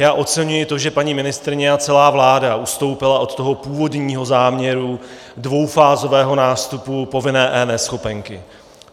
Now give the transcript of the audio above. Já oceňuji to, že paní ministryně a celá vláda ustoupily od toho původního záměru dvoufázového nástupu povinné eNeschopenky.